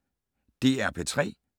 DR P3